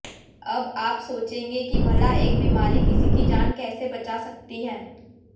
अब आप सोचेंगे कि भला एक बीमारी किसी की जान कैसे बचा सकती है